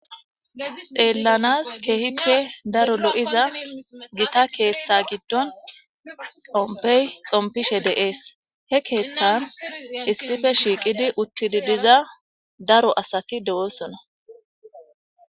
Xeellanaas keehippe daro lo7iza gita keetha giddon xomppey xomppishe de7ees. He keethaan issipe shiiqidi uttizi diza daro asati do7oosona.